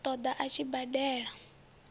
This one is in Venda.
ṱo ḓa a tshi badela